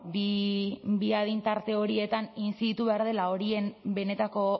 bi adin tarte horietan intziditu behar dela horien benetako